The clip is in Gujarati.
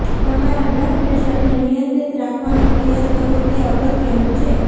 તમારા બ્લડ પ્રેશરને નિયંત્રિત રાખવાનો પ્રયાસ કરવો તે અગત્યનું છે